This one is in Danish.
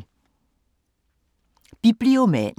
Bibliomanen